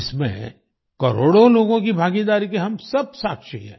इसमें करोड़ों लोगों की भागीदारी के हम सब साक्षी हैं